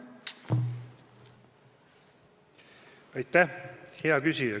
Aitäh, hea küsija!